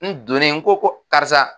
N donnen n ko ko karisa.